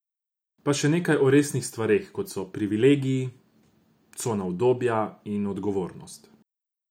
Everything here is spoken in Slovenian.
Pa še nekaj o resnih stvareh kot so privilegiji, cona udobja in odgovornost.